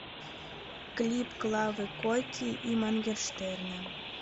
клип клавы коки и моргенштерна